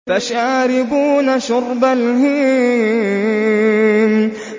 فَشَارِبُونَ شُرْبَ الْهِيمِ